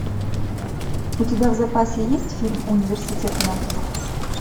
у тебя в запасе есть фильм университет монстров